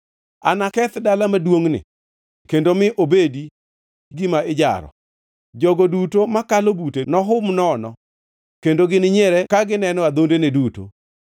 Anaketh dala maduongʼni kendo mi obed gima ijaro; jogo duto makalo bute nohum nono kendo gininyiere ka gineno adhondene duto.